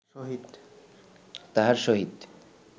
তাহার সহিত